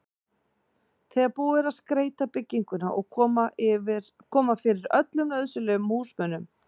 þegar búið er að skreyta bygginguna og koma fyrir öllum nauðsynlegum húsmunum.